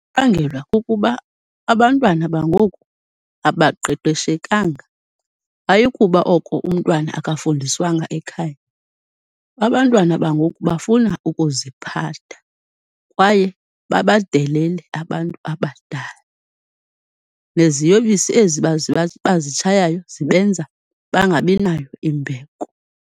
Ibangelwa kukuba abantwana bangoku abaqeqeshekanga, ayikuba oko umntwana akafundiswanga ekhaya. Abantwana bangoku bafuna ukuziphatha kwaye babadelele abantu abadala, neziyobisi ezi bazitshayayo zibenza bangabinayo imbeko.